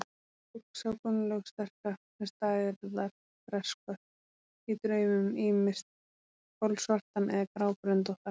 Fólk sá Gunnlaug sterka sem stærðar fresskött í draumum, ýmist kolsvartan eða grábröndóttan.